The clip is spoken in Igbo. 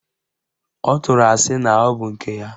Ọ tụrụ asị na ọbụ nke ya